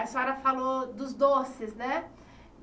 A senhora falou dos doces, né?